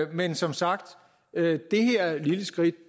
men som sagt det her lille skridt